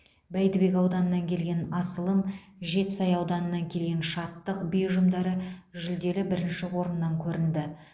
бәйдібек ауданынан келген асылым жетісай ауданынан келген шаттық би ұжымдары жүлделі бірінші орыннан көрінді